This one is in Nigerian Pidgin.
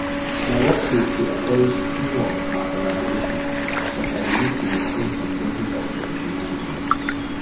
My workplace dey encourage teamwork and collaboration, but I dey need to maintain some level of professionalism.